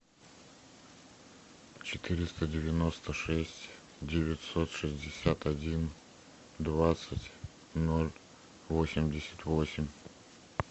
четыреста девяносто шесть девятьсот шестьдесят один двадцать ноль восемьдесят восемь